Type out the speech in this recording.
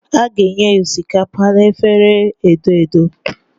A ga-enye osikapa na efere edo edo.